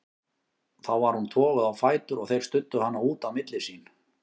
Þá var hún toguð á fætur og þeir studdu hana út á milli sín.